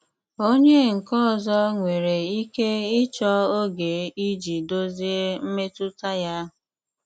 Ònye nkè ọzọ nwèrè ike ịchọ ógè iji dozie mmetụta ya.